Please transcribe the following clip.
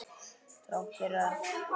Þrátt fyrir allt.